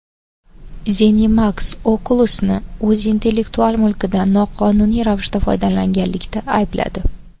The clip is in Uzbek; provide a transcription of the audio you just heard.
ZeniMax Oculus’ni o‘z intellektual mulkidan noqonuniy ravishda foydalanganlikda aybladi.